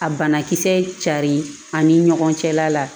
A banakisɛ carin ani ɲɔgɔn cɛla la